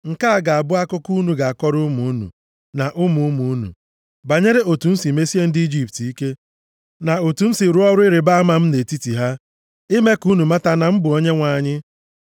Nke a ga-abụ akụkọ unu ga-akọrọ ụmụ unu, na ụmụ ụmụ unu, banyere otu m si mesie ndị Ijipt ike, na otu m si rụọ ọrụ ịrịbama m nʼetiti ha, ime ka unu mata na m bụ Onyenwe anyị.”